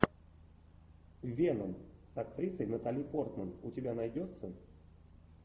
веном с актрисой натали портман у тебя найдется